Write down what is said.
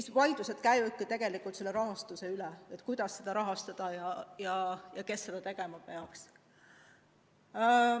Ja vaidlused käivadki tegelikult rahastuse üle: kuidas seda rahastada ja kes seda tegema peaks.